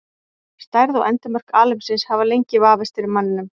Stærð og endimörk alheimsins hafa lengi vafist fyrir manninum.